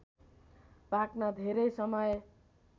पाक्न धेरै समय